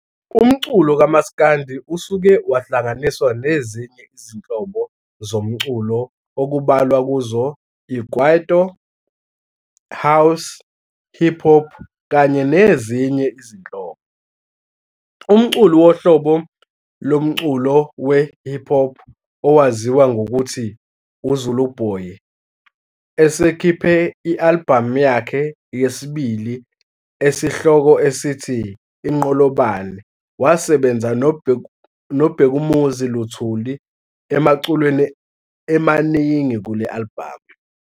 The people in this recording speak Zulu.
Umculo kamaskandi usuke wahlanganiswa nezinye izinhobo zomculo okubalwa kuzo i-Kwaito, house, hip-hop kanye nezinye izinhlobo. Umculi wohlobo lomculo we-hip-hop owaziwa ngokuthi u-Zuluboy esekhipha i-alibhamu yakhe yesibili esihloko esithi-Inqolobane wasebenza no-Bhekumuzi Luthulu emaculweni emaningi kule alibhamu.